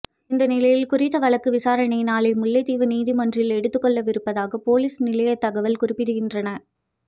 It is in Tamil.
இந்நிலையில் குறித்த வழக்கு விசாரணை நாளை முல்லைத்தீவு நீதிமன்றில் எடுத்துக்கொள்ளவிருப்பதாக பொலிஸ் நிலையத்தகவல்களில் குறிப்பிடுகின்றன